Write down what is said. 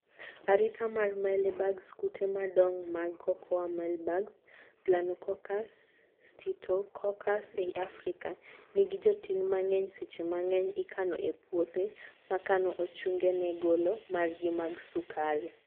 Arita mar Maelybugs: Kute madong mag Cocoa Mealybugs(Planococcus, Stictococcus eiy Afrika) nigi joting mangeny; seche mangeny, ikano e puothe makano ochunge ne golo margi mag sukari